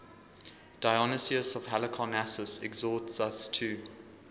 dionysius of halicarnassus exhorts us to